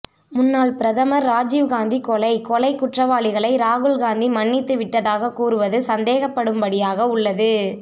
முன்னாள் பிரதமர் ராஜீவ் காந்திகொலை கொலை குற்றவாளிகளை ராகுல் காந்தி மன்னித்து விட்டதாக கூறுவது சந்தேகப்படும்படியாக உள்ளது